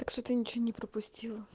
так что-то ничего не пропустила